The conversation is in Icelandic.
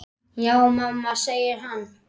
Já mamma, segir hann.